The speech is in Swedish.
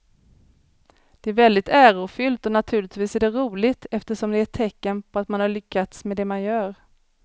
Det är väldigt ärofyllt och naturligtvis är det roligt eftersom det är ett tecken på att man har lyckats med det man gör.